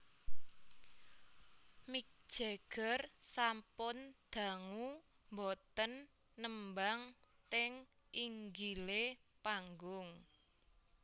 Mick Jagger sampun dangu mboten nembang teng inggile panggung